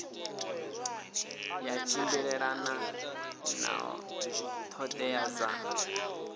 ya tshimbilelana na ṱhoḓea dza